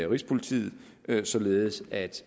rigspolitiet således at